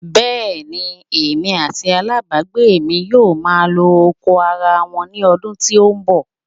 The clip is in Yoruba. Bẹ́ẹ̀ ni, èmi àti alábàágbé mi yóò máa lo oko ara wa ní ọdún tí ó ń bọ̀.